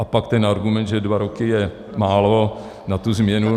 A pak ten argument, že dva roky je málo na tu změnu.